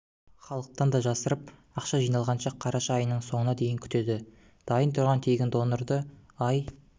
халықтан да жасырып ақша жиналғанша қараша айының соңына дейін күтеді дайын тұрған тегін донорды ай